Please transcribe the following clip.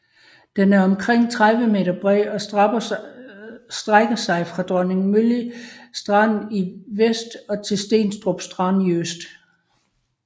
Den er omkring 30 m bred og strækker sig fra Dronningmølle Strand i vest og til Stenstrup Strand i øst